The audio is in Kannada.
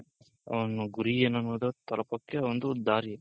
ಅವ್ನ ಗುರಿ ಏನು ಅನ್ನೋದು ತಲುಪೋಕೆ ಒಂದು ದಾರಿ.